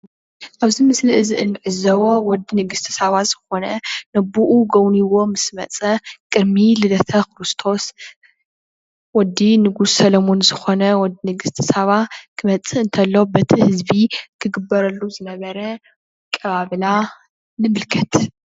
ኣብዚ ምስሊ እዙይ እንዕዘቦ ወዲ ንግስተ ሳባ ዝኾነ ንኣብኡ ጎብንይዋ ምስ መፀ ቅድሚ ልደተ ክርስቶስ ወዲ ንጉስ ሰለሞን ዝኾነ ወዲ ንግስተ ሰባ እንትመፅእ እንተሎ በቲ ህዝቢ ክግበረሉ ዝነበረ ኣቀባብላ ንምልከት።